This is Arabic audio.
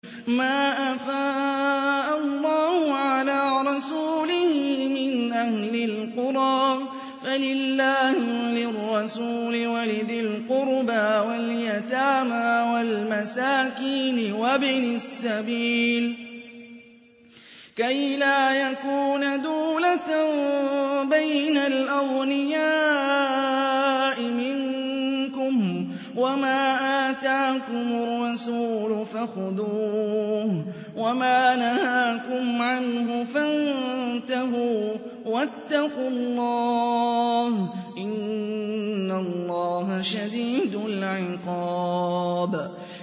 مَّا أَفَاءَ اللَّهُ عَلَىٰ رَسُولِهِ مِنْ أَهْلِ الْقُرَىٰ فَلِلَّهِ وَلِلرَّسُولِ وَلِذِي الْقُرْبَىٰ وَالْيَتَامَىٰ وَالْمَسَاكِينِ وَابْنِ السَّبِيلِ كَيْ لَا يَكُونَ دُولَةً بَيْنَ الْأَغْنِيَاءِ مِنكُمْ ۚ وَمَا آتَاكُمُ الرَّسُولُ فَخُذُوهُ وَمَا نَهَاكُمْ عَنْهُ فَانتَهُوا ۚ وَاتَّقُوا اللَّهَ ۖ إِنَّ اللَّهَ شَدِيدُ الْعِقَابِ